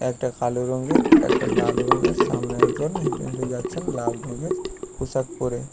একটা কালো রঙের একটা লাল রঙের সামনে একজন হেঁটে হেঁটে যাচ্ছে লাল রঙের পোশাক পরে।